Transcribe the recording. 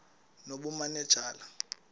nobumanejala